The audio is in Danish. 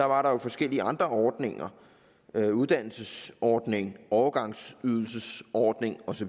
var der forskellige andre ordninger uddannelsesordning overgangsydelsesordning osv